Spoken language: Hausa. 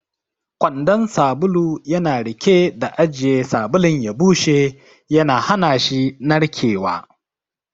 Kwandon sabulu yana riƙe da ajiye sabulun ya bushe, yana hana shi narkewa.